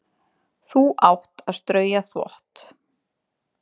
Þú átt að strauja þvott.